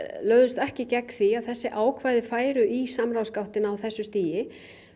lögðust ekki gegn því að þessi ákvæði færu í samráðsgáttina á þessu stigi